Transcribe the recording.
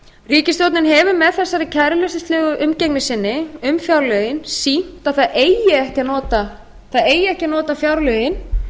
ríkisstjórnin hefur með þessari kæruleysislegu umgengni sinni um fjárlögin sýnt að það eigi ekki að nota fjárlögin